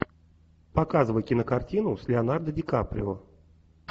показывай кинокартину с леонардо ди каприо